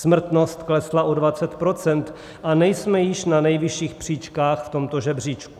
Smrtnost klesla o 20 %, a nejsme již na nejvyšších příčkách v tomto žebříčku.